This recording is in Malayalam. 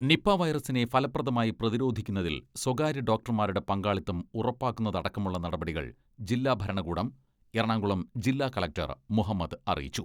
നിപാ വൈറസിനെ ഫലപ്രദമായി പ്രതിരോധിക്കുന്നതിൽ സ്വകാര്യ ഡോക്ടർമാരുടെ പങ്കാളിത്തം ഉറപ്പാക്കുന്നതടക്കമുള്ള നടപടികൾ ജില്ല ഭരണകൂടം എറണാകുളം ജില്ലാ കളക്ടർ മുഹമ്മദ് അറിയിച്ചു.